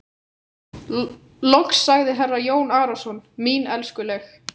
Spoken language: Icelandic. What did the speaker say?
Loks sagði herra Jón Arason:-Mín elskuleg.